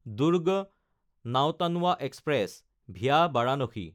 Durg Nautanwa express (via Varanasi)